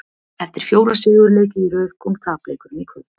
Eftir fjóra sigurleiki í röð kom tapleikurinn í kvöld.